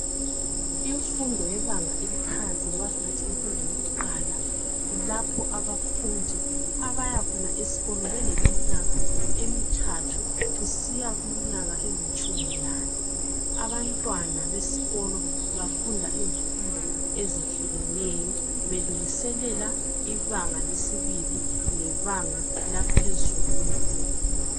Imfundo yebanga eliphansi noma singathi imfundo yokuqala kulapha abafundi abayakhona esikolo beleminyaka emithathu kusiya kumnyaka elitshumi lane abantwana besikolo bafunda izifundo ezehlukeneyo belungiselela ibanga lesibili lebanga laphezulu kwelezemfundo